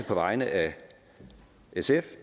på vegne af s s